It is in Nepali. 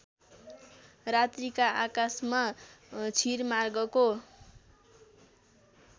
रात्रीका आकाशमा क्षीरमार्गको